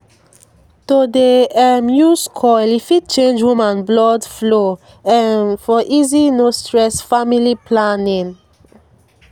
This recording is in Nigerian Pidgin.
to dey um use coil e fit change woman blood flow um for easy no stress family planning. pause small